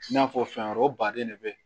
I n'a fɔ fɛn wɛrɛw baden ne bɛ